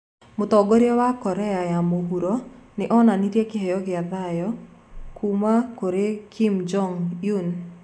Mũtongoria wa Korea ya Mũhuro nĩ onanirie 'kĩheo kĩa thayũ' kuuma kũrĩ Kim Jong Un